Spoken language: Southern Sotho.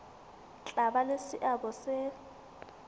tla ba le seabo se